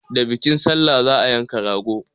Da bikin salla za a yanka rago.